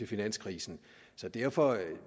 finanskrisen derfor